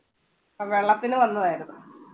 അത് വെള്ളത്തിന് വന്നതായിരുന്നു